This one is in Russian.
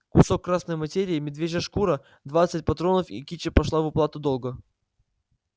кусок красной материи медвежья шкура двадцать патронов и кичи пошли в уплату долга